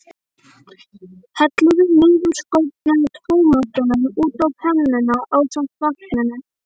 Hellið niðurskornu tómötunum út á pönnuna ásamt vatninu.